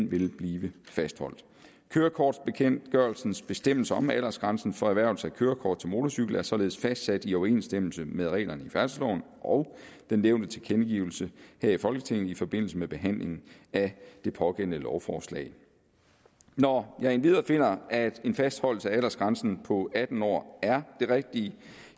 ville blive fastholdt kørekortbekendtgørelsens bestemmelser om aldersgrænsen for erhvervelse af kørekort til motorcykel er således fastsat i overensstemmelse med reglerne i færdselsloven og den nævnte tilkendegivelse her i folketinget i forbindelse med behandlingen af det pågældende lovforslag når jeg endvidere finder at en fastholdelse af aldersgrænsen på atten år er det rigtige